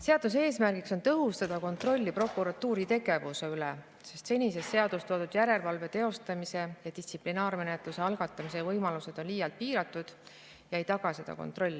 Seaduse eesmärk on tõhustada kontrolli prokuratuuri tegevuse üle, sest senises seaduses toodud järelevalve teostamise ja distsiplinaarmenetluse algatamise võimalused on liialt piiratud ega taga seda kontrolli.